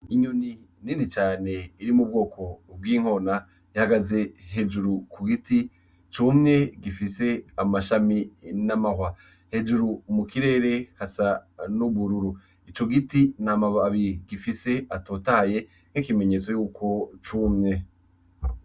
Inyoni nini cane iri mu bwoko bw’inkona ihagaze hejuru ku giti cumye gifise amashami n’amahwa. Hejuru mu kirere hasa n’ubururu. Ico giti ntamababi gifise atotahaye nk’ikimenyetso yuko cumye.